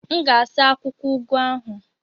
M ga-asa akwụkwọ ugu ahụ.